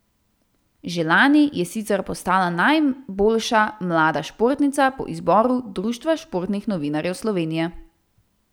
Že lani je sicer postala najboljša mlada športnica po izboru Društva športnih novinarjev Slovenije.